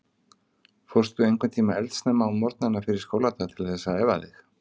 Fórstu einhvern tímann eldsnemma á morgnana fyrir skóladag til þess að æfa þig?